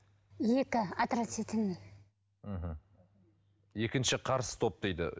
екі отрицательный мхм екінші қарсы топ дейді